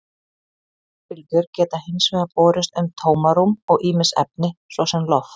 Útvarpsbylgjur geta hins vegar borist um tómarúm og ýmis efni, svo sem loft.